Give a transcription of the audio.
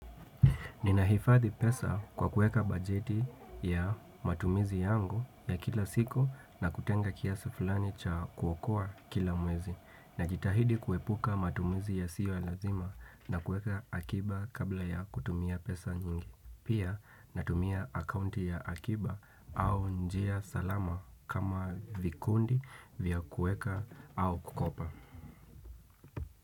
Ninahifathi pesa kwa kueka bajeti ya matumizi yangu ya kila siku na kutenga kiasa fulani cha kuokoa kila mwezi. Na jitahidi kuepuka matumizi ya siyo ya lazima na kueka akiba kabla ya kutumia pesa nyingi. Pia natumia akaunti ya akiba au njia salama kama vikundi vya kueka au kukopa.